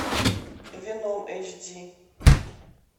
веном эйч ди